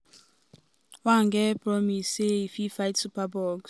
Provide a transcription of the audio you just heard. one get promise say e fit fight superbugs.